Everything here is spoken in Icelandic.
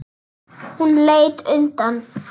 Hún leit undan.